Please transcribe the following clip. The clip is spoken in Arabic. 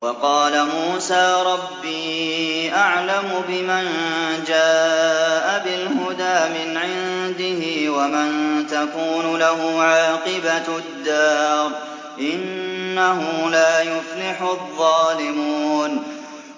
وَقَالَ مُوسَىٰ رَبِّي أَعْلَمُ بِمَن جَاءَ بِالْهُدَىٰ مِنْ عِندِهِ وَمَن تَكُونُ لَهُ عَاقِبَةُ الدَّارِ ۖ إِنَّهُ لَا يُفْلِحُ الظَّالِمُونَ